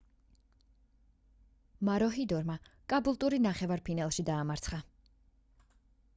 მაროჰიდორმა კაბულტური ნახევარ ფინალში დაამარცხა